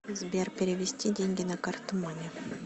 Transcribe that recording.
сбер перевести деньги на карту маме